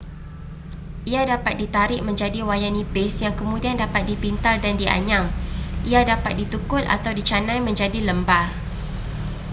ia dapat ditarik menjadi wayar nipis yang kemudian dapat dipintal dan dianyam ia dapat ditukul atau dicanai menjadi lembar